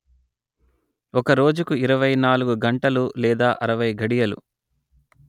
ఒక రోజుకు ఇరవై నాలుగు గంటలు లేదా అరవై ఘడియలు